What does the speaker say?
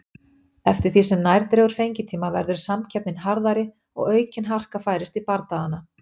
Eftir því sem nær dregur fengitíma verður samkeppnin harðari og aukin harka færist í bardagana.